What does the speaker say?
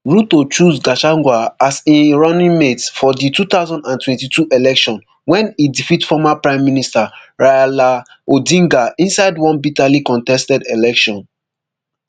ruto chose gachagua as im runningmate for di two thousand and twenty-two election wen e defeat former prime minister raila odinga inside one bitterly contested election